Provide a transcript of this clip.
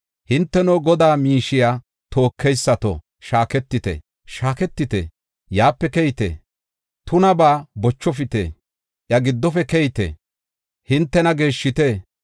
Hinteno Godaa miishiya tookeysato, shaaketite, shaaketite, yaape keyite. Tunabaa bochofite; iya giddofe keyite; hintena geeshshite.